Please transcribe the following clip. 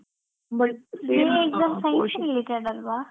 JEE exam science related ಅಲ್ವಾ?